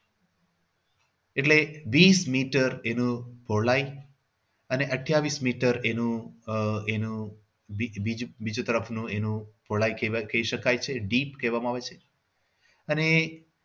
એટલે વીસ મીટર એનું પહોળાય અને અઠ્યાવીસ મીટર એનું આહ એનું બીજું બીજું બીજું તરફનું એનું પહોળાય કહેવાય એવું કહી શકાય છે deep માપવામાં આવે છે અને